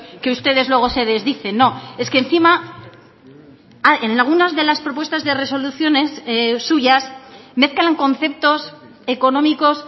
que ustedes luego se desdicen no es que encima en algunas de las propuestas de resoluciones suyas mezclan conceptos económicos